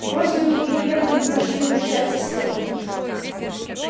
родственники первые пошли прощаться с телом